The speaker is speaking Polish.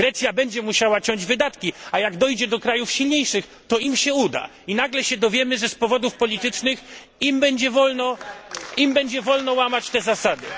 Grecja będzie musiała ciąć wydatki, a jak dojdzie do krajów silniejszych, to im się uda i nagle dowiemy się, że z powodów politycznych im będzie wolno łamać te zasady.